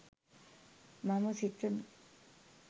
මම සිතමි